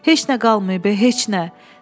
Heç nə qalmayıb, heç nə.